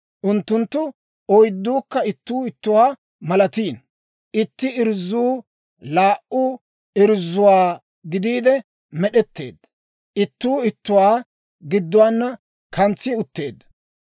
Unttunttu oydduukka ittuu ittuwaa malatiino; itti irzzuu laa"u irzzuwaa gidiide med'etteedda; ittuu ittuwaa gidduwaana kantsi utteedda.